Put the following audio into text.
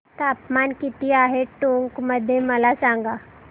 तापमान किती आहे टोंक मध्ये मला सांगा